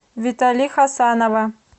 витали хасанова